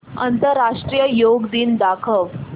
आंतरराष्ट्रीय योग दिन दाखव